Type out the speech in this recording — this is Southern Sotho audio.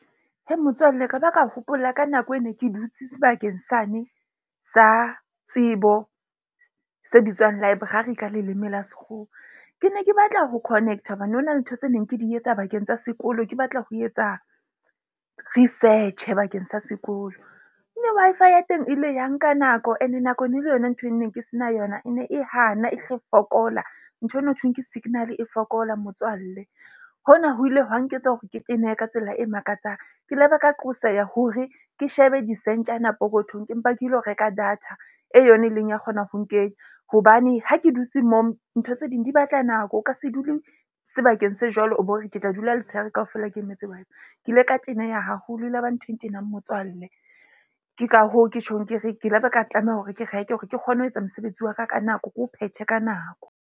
Motswalle, ka ba ka hopola ka nako, e ne ke dutse sebakeng sane sa tsebo se bitswang library ka leleme la sekgowa. Ke ne ke batla ho connect-a hobane ho na le ntho tse neng ke di etsa bakeng tsa sekolo. Ke batla ho etsa research-e bakeng sa sekolo. Mme Wi-Fi ya teng e le ya nka nako ene nako e ne le yona ntho e ne ke se na yona e ne e hana e hle fokola. Nthwena hothweng ke signal e fokola motswalle. Hona ho ile hwa nketsa hore ke tenehe ka tsela e makatsang. Ke laba ka qoseha hore ke shebe disentjana pokothong ke mpa ke lo reka data e yona e leng ya kgona ho nkenya. Hobane ha ke dutse moo, ntho tse ding di batla nako, o ka se dule sebakeng se jwalo, o bo re ke tla dula letshehare kaofela, ke emetse ke ile ka teneha haholo. E laba ntho e ntenang motswalle. Ke ka hoo ke tjhong ke re ke laba ka tlameha hore ke reke hore ke kgone ho etsa mosebetsi wa ka ka nako, ke o phethe ka nako.